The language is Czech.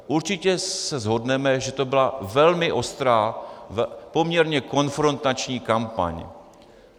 Určitě se shodneme, že to byla velmi ostrá, poměrně konfrontační kampaň.